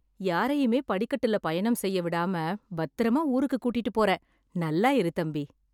யாரையுமே படிக்கட்டுல பயணம் செய்ய விடாம பத்திரமா ஊருக்குக் கூட்டிட்டு போற. நல்லா இரு தம்பி.